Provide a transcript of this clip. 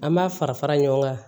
An b'a fara fara ɲɔgɔn kan